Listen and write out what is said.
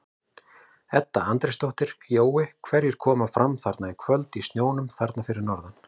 Edda Andrésdóttir: Jói hverjir koma fram þarna í kvöld í snjónum þarna fyrir norðan?